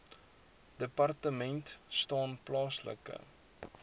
departement staan plaaslike